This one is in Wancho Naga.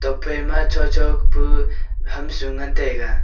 nokphai ma chocho kapu ham su ngan taiga.